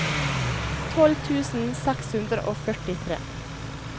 tolv tusen seks hundre og førtitre